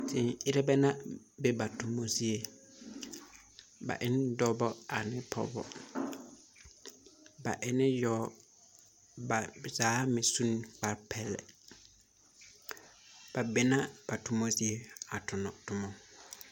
Tēē ere bɛ la be ba toma zie, ba e ne dɔbɔ ane pɔgebɔ ,ba e ne yao, ba zaa meŋ su la kparrepeɛli ba be na ba toma zie a tona tomɔ.